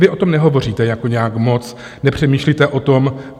Vy o tom nehovoříte jako nějak moc, nepřemýšlíte o tom.